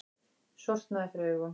Sortnaði fyrir augum.